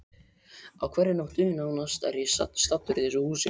Á hverri nóttu nánast er ég staddur í þessu húsi.